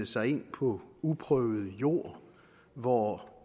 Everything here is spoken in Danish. sig ind på uprøvet jord hvor